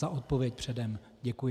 Za odpověď předem děkuji.